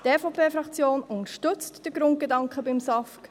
Die EVP-Fraktion unterstützt den Grundgedanken des SAFG.